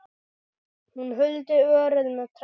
Hún huldi örið með trefli.